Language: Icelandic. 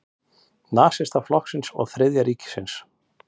Nasistaflokksins og Þriðja ríkisins.